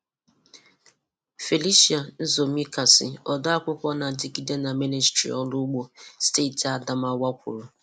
Felicia Nzomisaki, Odeakwụkwọ na-adịgide na Ministri Ọrụ Ugbo, steeti Adamawa kwuru.